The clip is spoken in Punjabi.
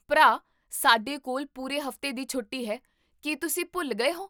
ਭਰਾ, ਸਾਡੇ ਕੋਲ ਪੂਰੇ ਹਫ਼ਤੇ ਦੀ ਛੋਟੀ ਹੈ, ਕੀ ਤੁਸੀਂ ਭੁੱਲ ਗਏ ਹੋ?